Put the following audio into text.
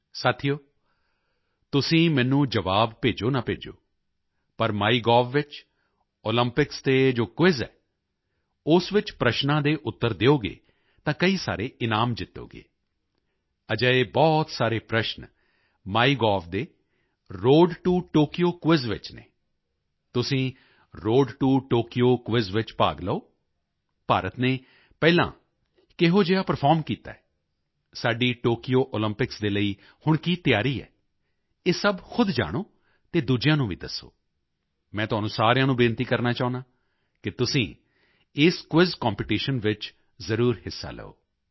ਸਾਥੀਓ ਤੁਸੀਂ ਮੈਨੂੰ ਜਵਾਬ ਭੇਜੋ ਨਾ ਭੇਜੋ ਪਰ ਮਾਈਗੋਵ ਵਿੱਚ ਓਲੰਪਿਕਸ ਤੇ ਜੋ ਕੁਇਜ਼ ਹੈ ਉਸ ਵਿੱਚ ਪ੍ਰਸ਼ਨਾਂ ਦੇ ਉੱਤਰ ਦਿਓਗੇ ਤਾਂ ਕਈ ਸਾਰੇ ਇਨਾਮ ਜਿੱਤੋਗੇ ਅਜਿਹੇ ਬਹੁਤ ਸਾਰੇ ਪ੍ਰਸ਼ਨ ਮਾਈਗੋਵ ਦੇ ਰੋਡ ਟੋ ਟੋਕਯੋ ਕੁਇਜ਼ ਵਿੱਚ ਹਨ ਤੁਸੀਂ ਰੋਡ ਟੋ ਟੋਕਯੋ ਕੁਇਜ਼ ਵਿੱਚ ਭਾਗ ਲਓ ਭਾਰਤ ਨੇ ਪਹਿਲਾਂ ਕਿਹੋ ਜਿਹਾ ਪਰਫਾਰਮ ਕੀਤਾ ਹੈ ਸਾਡੀ ਟੋਕਯੋ ਓਲੰਪਿਕਸ ਦੇ ਲਈ ਹੁਣ ਕੀ ਤਿਆਰੀ ਹੈ ਇਹ ਸਭ ਖੁਦ ਜਾਣੋ ਅਤੇ ਦੂਜਿਆਂ ਨੂੰ ਵੀ ਦੱਸੋ ਮੈਂ ਤੁਹਾਨੂੰ ਸਾਰਿਆਂ ਨੂੰ ਬੇਨਤੀ ਕਰਨਾ ਚਾਹੁੰਦਾ ਹਾਂ ਕਿ ਤੁਸੀਂ ਇਸ ਕੁਇਜ਼ ਕੰਪੀਟੀਸ਼ਨ ਵਿੱਚ ਜ਼ਰੂਰ ਹਿੱਸਾ ਲਓ